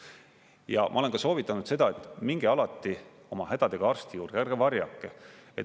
Ja ma olen ka soovitanud seda, et minge alati oma hädadega arsti juurde, ärge varjake.